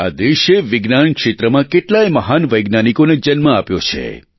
આ દેશે વિજ્ઞાન ક્ષેત્રમાં કેટલાય મહાન વૈજ્ઞાનિકોને જન્મ આપ્યો છે